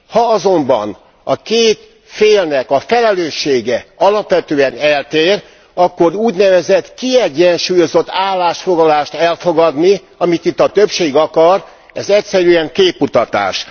Ha azonban a két félnek a felelőssége alapvetően eltér, akkor úgynevezett kiegyensúlyozott állásfoglalást elfogadni, amit itt a többség akar, egyszerűen képmutatás.